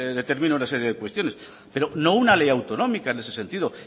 determina una serie de cuestiones pero no una ley autonómica en ese sentido